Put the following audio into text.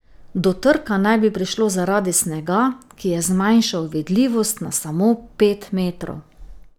Do trka naj bi prišlo zaradi snega, ki je zmanjšal vidljivost na samo pet metrov.